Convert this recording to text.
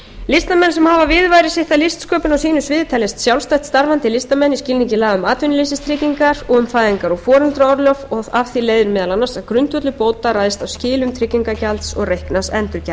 listamenn sem hafa viðurværi sitt af listsköpun á sínu sviði teljast sjálfstætt starfandi listamenn í skilningi laga um atvinnuleysistryggingar og um fæðingar og foreldraorlof og af því leiðir meðal annars að grundvöllur bóta ræðst af skilum tryggingagjaldi og reiknaðs endurgjalds réttur